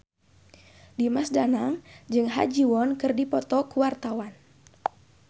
Dimas Danang jeung Ha Ji Won keur dipoto ku wartawan